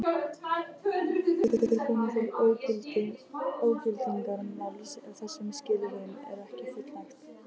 Getur komið til ógildingarmáls ef þessum skilyrðum er ekki fullnægt.